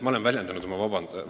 Ma olen väljendanud oma vabandust.